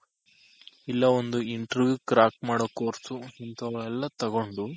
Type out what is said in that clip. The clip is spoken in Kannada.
ಇಲ್ಲ ಒಂದು Interview crack ಮಾಡೋ Course ಇಂತವೆಲ್ಲ ತಗೊಂಡು